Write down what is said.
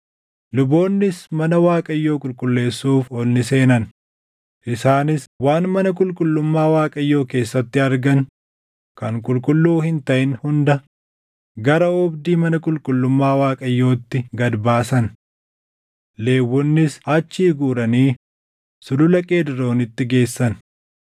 Luboonnis mana Waaqayyoo qulqulleessuuf ol ni seenan. Isaanis waan mana qulqullummaa Waaqayyoo keessatti argan kan qulqulluu hin taʼin hunda gara oobdii mana qulqullummaa Waaqayyootti gad baasan. Lewwonnis achii guuranii Sulula Qeedroonitti geessan.